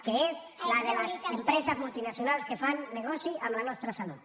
que és la de les empreses multinacionals que fan negoci amb la nostra salut